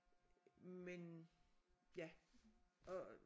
Men ja og